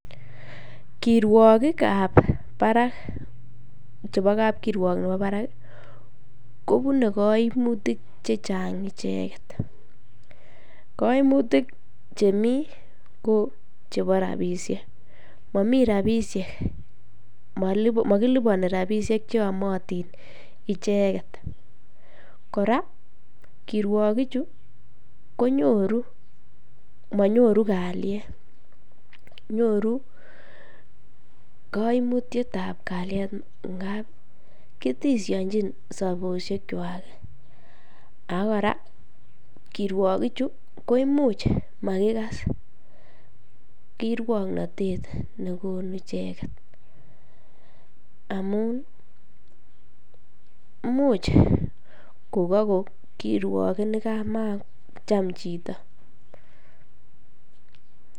Kirwokikab barak chebo kapkirwok nebo barak kobune koimutik chechang icheket, koimutik chemii ko chebo rabishek, momii rabishek, mokiliboni rabishek cheyomotin icheket, kora kirwokichu ko nyoru monyoru kalyet, nyoru koimutietab kalyet ng'ab kiteseonjin sobonwekwak ak ko kora kirwokichu ko imuch makikas kirwoknotet nekonu icheket amun imuch kokako kirwoket nekamacham chito.